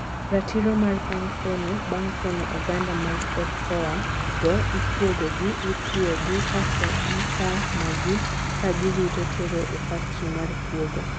Ratiro mar bang pono: bang pono oganda mag ocoa go, ikuogogi, itwuogi, kasto ikanogi kagirito tero e factory mar kuogo